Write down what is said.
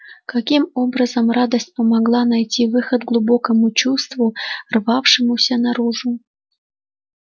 каким образом радость помогла найти выход глубокому чувству рвавшемуся наружу